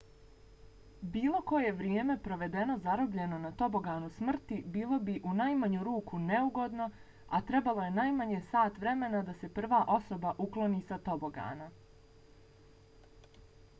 bilo koje vrijeme provedeno zarobljeno na toboganu smrti bilo bi u najmanju ruku neugodno a trebalo je najmanje sat vremena da se prva osoba ukloni sa tobogana.